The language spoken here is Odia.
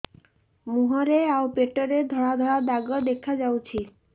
ମୁହଁରେ ଆଉ ପେଟରେ ଧଳା ଧଳା ଦାଗ ଦେଖାଯାଉଛି